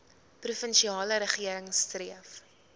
provinsiale regering streef